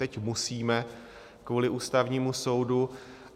Teď musíme kvůli Ústavnímu soudu.